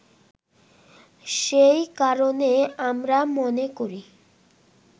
সেই কারণে আমরা মনে করি